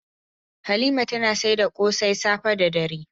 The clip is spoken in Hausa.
Halima tana saida kose safe da dare.